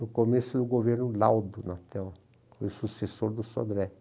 no começo do governo Laudo, o sucessor do Sodré.